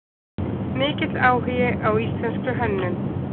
Mikill áhugi á íslenskri hönnun